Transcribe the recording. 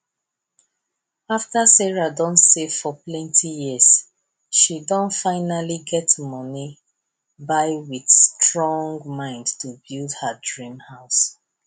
afta sarah don save for plenti years she finally don get money with strong mind to build her dream house